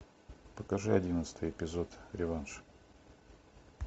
покажи одиннадцатый эпизод реванш